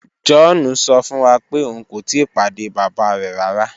John sọ fun wa pe oun ko tii pade baba rẹ rara.